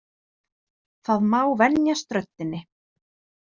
Það má venjast röddinni.